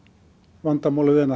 vandamálið er